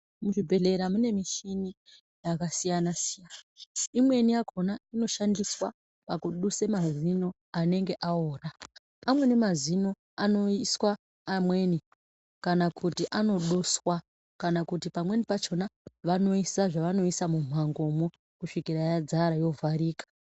Muzvibhedhlera mune mishini yakasiyana siyana. Imweni yakona inoshandiswa pakuduse mazino anenge aora. Amweni mazino anoiswa amweni kana kuti anoduswa kana kuti pamweni pachona vanoisa zvavanoisa mumhangomwo kusvikira yadzara yovharika.